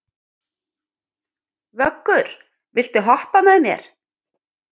Vöggur, viltu hoppa með mér?